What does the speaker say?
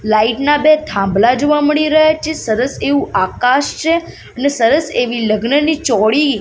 light ના બે થાંભલા જોવા મળી રહ્યા છે સરસ એવુ આકાશ છે ને સરસ એવી લગ્નની ચૌડી --